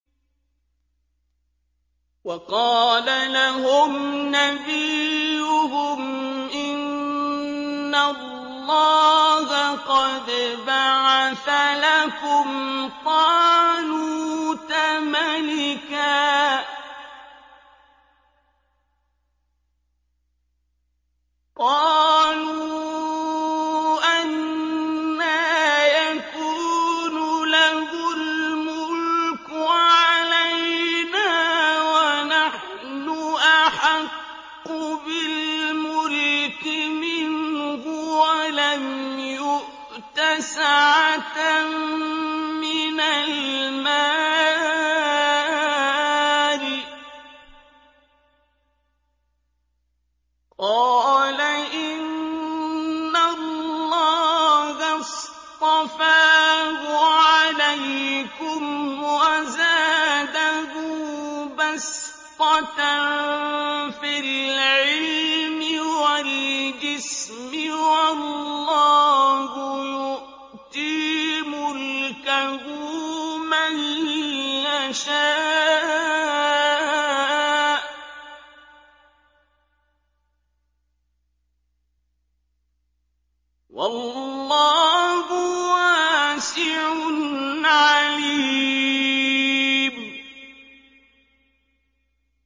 وَقَالَ لَهُمْ نَبِيُّهُمْ إِنَّ اللَّهَ قَدْ بَعَثَ لَكُمْ طَالُوتَ مَلِكًا ۚ قَالُوا أَنَّىٰ يَكُونُ لَهُ الْمُلْكُ عَلَيْنَا وَنَحْنُ أَحَقُّ بِالْمُلْكِ مِنْهُ وَلَمْ يُؤْتَ سَعَةً مِّنَ الْمَالِ ۚ قَالَ إِنَّ اللَّهَ اصْطَفَاهُ عَلَيْكُمْ وَزَادَهُ بَسْطَةً فِي الْعِلْمِ وَالْجِسْمِ ۖ وَاللَّهُ يُؤْتِي مُلْكَهُ مَن يَشَاءُ ۚ وَاللَّهُ وَاسِعٌ عَلِيمٌ